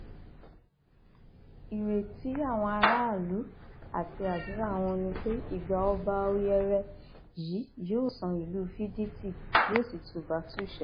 ìrètí àwọn aráàlú àti àdúrà wọn ni pé ìgbà ọba ọyẹrẹ yìí yóò san ìlú fídítì yóò sì tùbàtúṣe